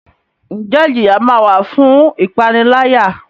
Njẹ ijiya ma wa fun ipanilaya?